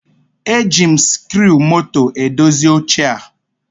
E ji m sikruumoto edozi oche a